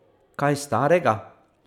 Kaj starega?